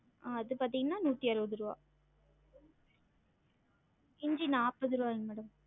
ஆஹ் அது பாத்தீங்கன்னா நூத்தி அறுவது ருவா இஞ்சி நாப்பது ருவாய்ங்க madam